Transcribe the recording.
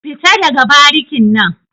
Fita daga barikin nan.